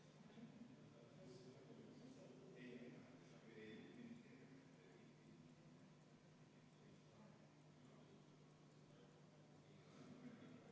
Palun võtta seisukoht ja hääletada!